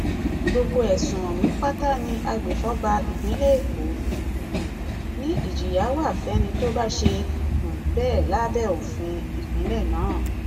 gbogbo ẹsùn ọhún pátá ni agbèfọba ìpínlẹ èkó um ni ìjìyà wá fẹni tó bá ṣe um bẹẹ lábẹ òfin ìpínlẹ náà